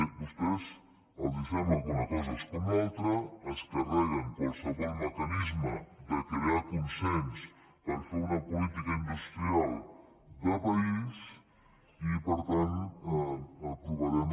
a vostès els sembla que una cosa és com l’altra es carreguen qualsevol mecanisme de crear consens per fer una política industrial de país i per tant aprovarem